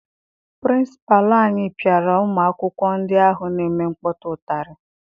Pịrịnsịpalụ anyị piara ụmụ akwụkwọ ndị ahụ na-eme nkpọtụ ụtarị.